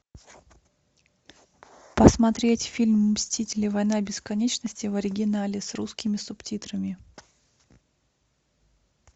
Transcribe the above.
посмотреть фильм мстители война бесконечности в оригинале с русскими субтитрами